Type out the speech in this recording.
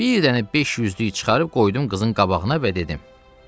Bir dənə 500-lük çıxarıb qoydum qızın qabağına və dedim: